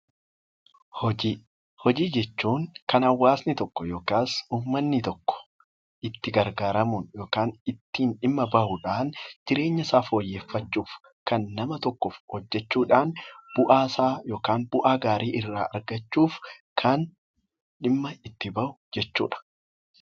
Hojii jechuun kan hawaasni tokko itti gargaaramuun ittiin dhimma bahuudhaaf jireenya isaa fooyyeffachuuf kan nama tokkoof hojjachuudhaan bu'aa gaarii irraa argachuuf kan dhimma itti bahu jechuudha